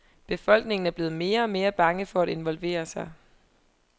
Befolkningen er blevet mere og mere bange for at involvere sig.